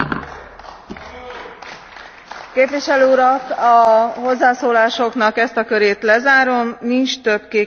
Képviselő Urak! A hozzászólásoknak ezt a körét lezárom. Nincs több kék kártyázás ugyanahhoz a kérdéshez.